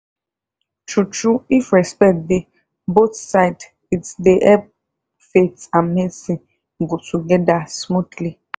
true true if respect dey both side it dey help faith and medicine go togeda smoothly.